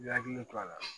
I hakili to a la